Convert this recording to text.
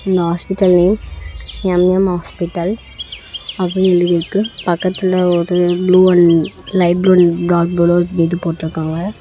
இந்த hospital name M M hospital அப்படின்னு எழுதிருக்கு பக்கத்துல ஒரு blue and light blue and dark ப்ளூல ஒரு இது போட்ருக்காங்க.